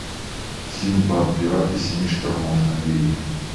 синдбад пираты семи штормов набери